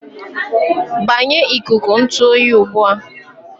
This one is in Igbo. Gbanyụọ ikuku ntụ oyi ugbu a!